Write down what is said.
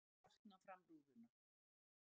Starði á brotna framrúðuna.